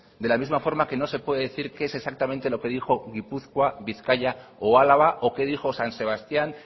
de la misma forma que no se puede decir qué es exactamente lo que dijo gipuzkoa bizkaia o álava o que dijo san sebastián